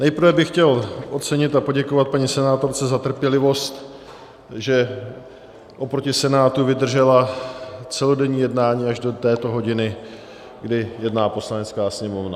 Nejprve bych chtěl ocenit a poděkovat paní senátorce za trpělivost, že oproti Senátu vydržela celodenní jednání až do této hodiny, kdy jedná Poslanecká sněmovna.